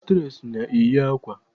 Aktres na-eyi akwa.